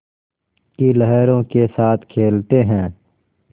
की लहरों के साथ खेलते हैं